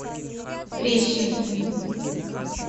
трещины